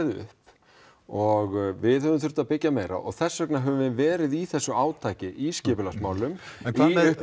upp og við höfum þurft að byggja meira og þess vegna höfum við verið í þessu átaki í skipulagsmálum en